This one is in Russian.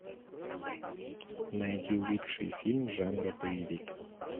найди лучший фильм жанра боевик